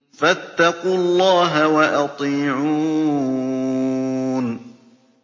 فَاتَّقُوا اللَّهَ وَأَطِيعُونِ